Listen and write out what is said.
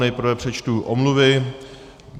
Nejprve přečtu omluvy.